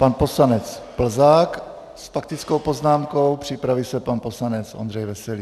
Pan poslanec Plzák s faktickou poznámkou, připraví se pan poslanec Ondřej Veselý.